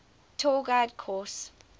tour guide course